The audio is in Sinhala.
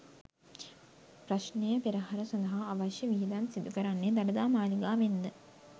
ප්‍රශ්නයපෙරහර සඳහා අවශ්‍ය වියදම් සිදු කරන්නේ දළදා මාලිගාවෙන් ද?